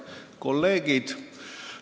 Head kolleegid!